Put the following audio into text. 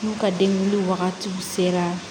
N'u ka delili wagatiw sera